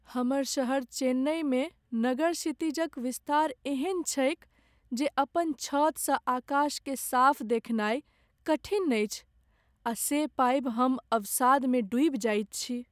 हमर शहर चेन्नइमे नगर क्षितिजक विस्तार एहन छैक जे अपन छतसँ आकाशकेँ साफ देखनाइ कठिन अछि आ से पाबि हम अवसादमे डूबि जाइत छी।